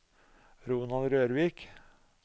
Ronald Rørvik